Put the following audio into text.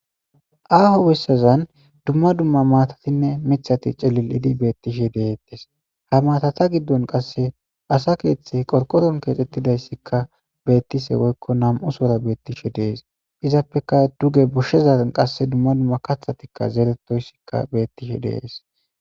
Aaho besazan dumma dumma maatatinne miththati cililidi beetishe de'etees; ha maatata giddon qasse asa keeththey qorqoron keexetidayssika beetishe woykko nam'usora beetishe de'es; izappeka duge goshshezan qasse dumma dumma kaththatika zeretoyssika beetishe de'es.